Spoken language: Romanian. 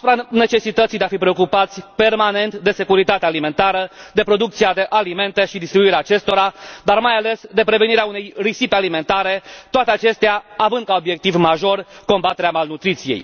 privind necesitatea de a fi preocupați permanent de securitatea alimentară, de producția de alimente și distribuirea acestora, dar mai ales de prevenirea unei risipe alimentare, toate acestea având ca obiectiv major combaterea malnutriției.